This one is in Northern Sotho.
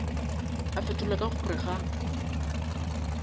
a fetola ka gore ga